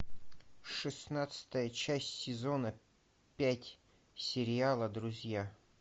шестнадцатая часть сезона пять сериала друзья